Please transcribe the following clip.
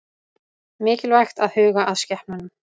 Mikilvægt að huga að skepnunum